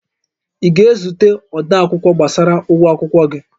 Ị ga-ezute odeakwụkwọ gbasara ụgwọ akwụkwọ gị?